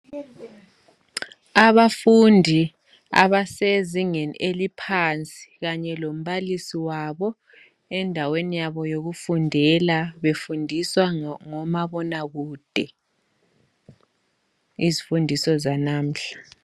Abafundi abasezingeni eliphansi kanye lombalisi wabo endaweni yabo yokufundela, befundiswa ngomabonakude izifundiso zanamuhla.